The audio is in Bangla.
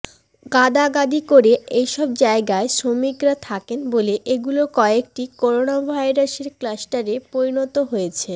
গাদাগাদি করে এসব জায়গায় শ্রমিকরা থাকেন বলে এগুলোর কয়েকটি করোনাভাইরাসের ক্লাস্টারে পরিণত হয়েছে